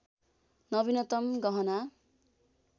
नवीनतम गहना